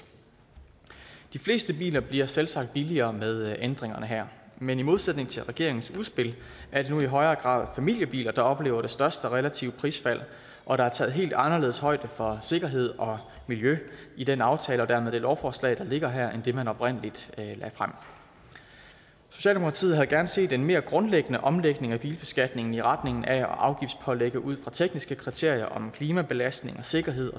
de fleste biler bliver selvsagt billigere med ændringerne her men i modsætning til regeringens udspil er det nu i højere grad familiebiler der oplever det største relative prisfald og der er taget helt anderledes højde for sikkerhed og miljø i den aftale og dermed det lovforslag der ligger her end i det man oprindelig lagde frem socialdemokratiet havde gerne set en mere grundlæggende omlægning af bilbeskatningen i retningen af at afgiftspålægge ud fra tekniske kriterier om klimabelastning sikkerhed